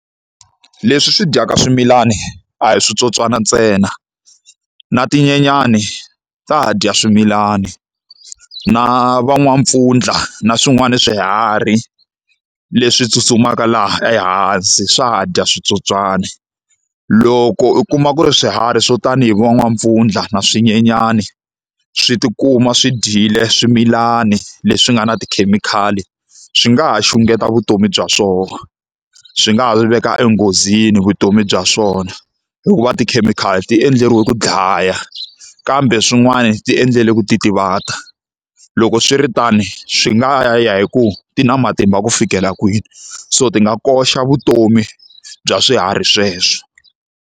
Leswi swi dyaka swimilani a hi switsotswana ntsena, na tinyenyani ta dya swimilani, na va n'wampfundla na swin'wana ni swiharhi leswi tsutsumaka laha ehansi swa ha dya switsotswana. Loko u kuma ku ri swiharhi swo tani hi vo n'wampfundla na swinyenyani swi tikuma swi dyile swimilani leswi nga na tikhemikhali, swi nga ha xungeta vutomi bya swona, swi nga ha swi veka enghozini vutomi bya swona hikuva tikhemikhali ti endleriwe ku dlaya. Kambe swin'wana ti endlele ku titivata. Loko swiritano swi ngahya ya hi ku ti na matimba ku fikela kwini, so ti nga koxa vutomi bya swiharhi sweswo.